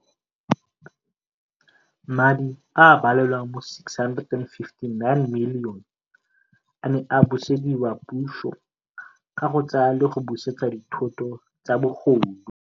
Madi a a balelwang go R659 milione a ne a busediwa puso ka go tsaya le go busetsa dithoto tsa bogodu.